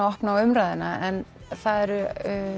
opna á umræðuna það eru